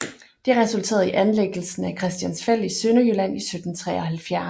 Det resulterede i anlæggelsen af Christiansfeld i Sønderjylland i 1773